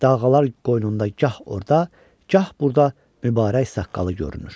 Dağğalar qoynunda gah orada, gah burada mübarək saqqalı görünür.